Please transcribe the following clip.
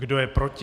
Kdo je proti?